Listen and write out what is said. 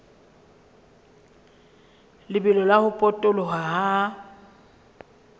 lebelo la ho potoloha ha